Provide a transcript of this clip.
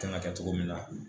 Kan ka kɛ cogo min na